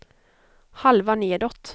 halva nedåt